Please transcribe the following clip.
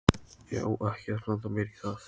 Það er reglulega gaman að sjá þig!